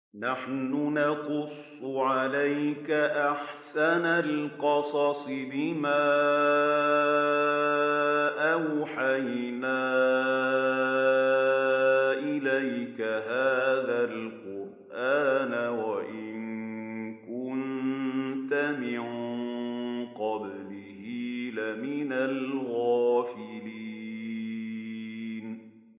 نَحْنُ نَقُصُّ عَلَيْكَ أَحْسَنَ الْقَصَصِ بِمَا أَوْحَيْنَا إِلَيْكَ هَٰذَا الْقُرْآنَ وَإِن كُنتَ مِن قَبْلِهِ لَمِنَ الْغَافِلِينَ